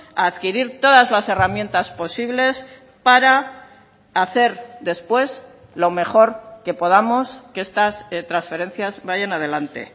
a adquirir todas las herramientas posibles para hacer después lo mejor que podamos que estas transferencias vayan adelante